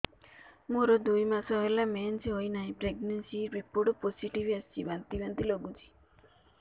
ମୋର ଦୁଇ ମାସ ହେଲା ମେନ୍ସେସ ହୋଇନାହିଁ ପ୍ରେଗନେନସି ରିପୋର୍ଟ ପୋସିଟିଭ ଆସିଛି ବାନ୍ତି ବାନ୍ତି ଲଗୁଛି